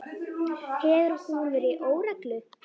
Hefur hún verið í óreglu?